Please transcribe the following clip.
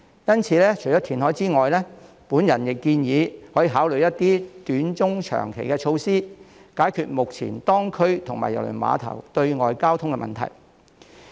因此，除了填海之外，我亦建議可以考慮一些短、中、長期措施，以解決目前當區及郵輪碼頭對外的交通問題。